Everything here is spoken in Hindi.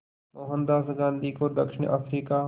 मोहनदास गांधी को दक्षिण अफ्रीका